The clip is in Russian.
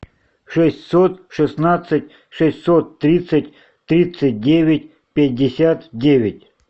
шестьсот шестнадцать шестьсот тридцать тридцать девять пятьдесят девять